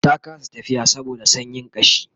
ta kasa tafiya saboda sanyin kashi